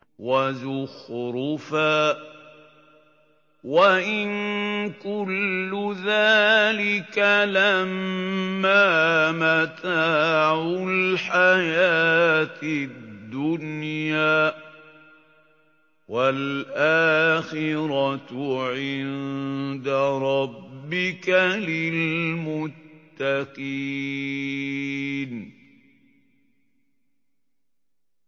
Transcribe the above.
وَزُخْرُفًا ۚ وَإِن كُلُّ ذَٰلِكَ لَمَّا مَتَاعُ الْحَيَاةِ الدُّنْيَا ۚ وَالْآخِرَةُ عِندَ رَبِّكَ لِلْمُتَّقِينَ